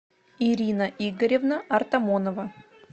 ирина игоревна артамонова